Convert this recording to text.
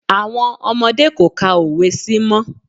Àwọn ọmọdé kò ka òwe sí mọ́.